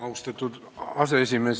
Austatud aseesimees!